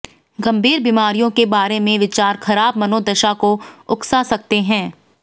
गंभीर बीमारियों के बारे में विचार खराब मनोदशा को उकसा सकते हैं